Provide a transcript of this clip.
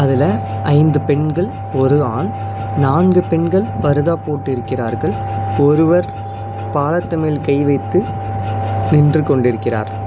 இதுல ஐந்து பெண்கள் ஒரு ஆண் நான்கு பெண்கள் பருதா போட்டு இருக்கிறார்கள் ஒருவர் பாலத்து மேல் கை வைத்து நின்று கொண்டிருக்கிறார்.